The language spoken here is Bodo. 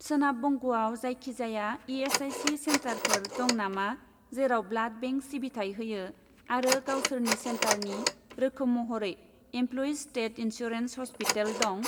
सोनाब बंगआव जायखिजाया इ.एस.आइ.सि. सेन्टारफोर दं नामा जेराव ब्लाड बेंक सिबिथाय होयो आरो गावसोरनि सेन्टारनि रोखोम महरै इमप्ल'यिज स्टेट इन्सुरेन्स ह'स्पिटेल दं?